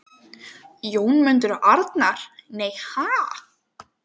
Jónmundur og Arnar: Nei, ha??